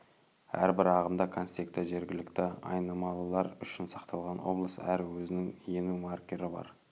әрбір ағымда контексті жергілікті айнымалылар үшін сақталған облыс әрі өзінің ену маркері бар